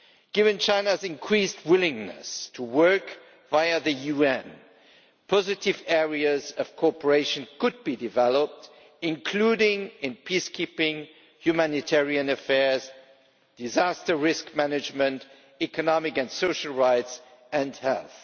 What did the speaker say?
Given China's increased willingness to work via the UN, positive areas of cooperation could be developed, including in peacekeeping, humanitarian affairs, disaster risk management, economic and social rights, and health.